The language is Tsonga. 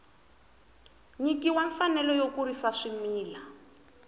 nyikiwa mfanelo yo kurisa swimila